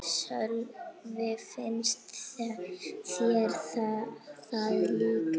Sölvi: Finnst þér það líklegt?